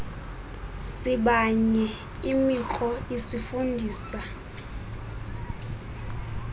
sibanye imikro isifundisa